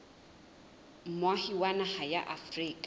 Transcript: moahi wa naha ya afrika